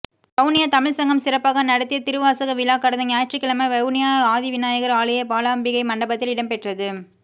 வவுனியா தமிழ்ச் சங்கம் சிறப்பாக நடத்தியதிருவாசக விழா கடந்த ஞாயிற்றுக்கிழமை வவுனியா ஆதிவிநாயகர் ஆலய பாலாம்பிகை மண்டபத்தில்இடம் பெற்றது